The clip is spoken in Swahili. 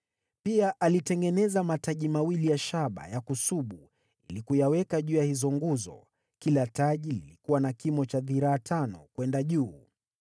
Pia alitengeneza mataji mawili ya shaba ya kusubu ili kuyaweka juu ya hizo nguzo; kila taji lilikuwa na kimo cha dhiraa tano kwenda juu.